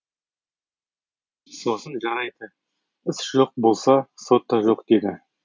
сосын жарайды іс жоқ болса сот та жоқ деді